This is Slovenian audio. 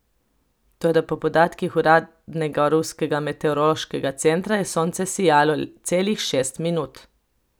Toda po podatkih uradnega ruskega meteorološkega centra je sonce sijalo celih šest minut.